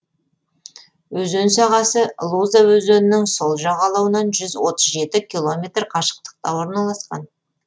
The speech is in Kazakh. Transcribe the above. өзен сағасы луза өзенінің сол жағалауынан жүз отыз жеті километр қашықтықта орналасқан